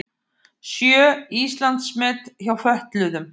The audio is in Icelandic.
Sjö Íslandsmet hjá fötluðum